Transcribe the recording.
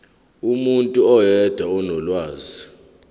umuntu oyedwa onolwazi